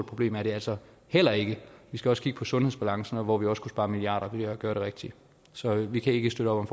problem er det altså heller ikke vi skal også kigge på sundhedsbalancen hvor vi også kunne spare milliarder ved at gøre det rigtige så vi kan ikke støtte op